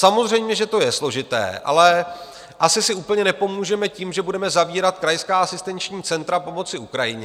Samozřejmě že to je složité, ale asi si úplně nepomůžeme tím, že budeme zavírat krajská asistenční centra pomoci Ukrajině.